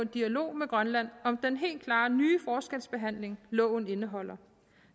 dialog med grønland om den helt klare nye forskelsbehandling loven indeholder